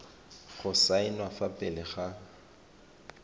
go saenwa fa pele ga